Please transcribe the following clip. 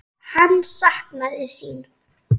Hann saknaði sín.